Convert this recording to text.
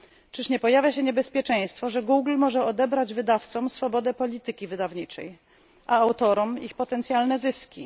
Czyż nie pojawia się niebezpieczeństwo, że Google może odebrać wydawcom swobodę polityki wydawniczej, a autorom ich potencjalne zyski?